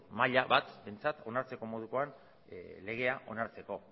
maila bat behintzat onartzeko modukoa legea onartzeko